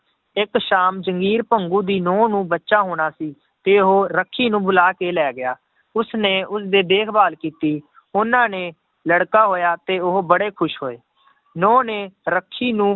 ਇੱਕ ਸ਼ਾਮ ਜੰਗੀਰ ਭੰਗੂ ਦੀ ਨਹੁੰ ਨੂੰ ਬੱਚਾ ਹੋਣਾ ਸੀ ਤੇ ਉਹ ਰੱਖੀ ਨੂੰ ਬੁਲਾ ਕੇ ਲੈ ਗਿਆ, ਉਸਨੇ ਉਸਦੇ ਦੇਖਭਾਲ ਕੀਤੀ, ਉਹਨਾਂ ਨੇ ਲੜਕਾ ਹੋਇਆ ਤੇ ਉਹ ਬੜੇ ਖ਼ੁਸ਼ ਹੋਏ ਨਹੁੰ ਨੇ ਰੱਖੀ ਨੂੰ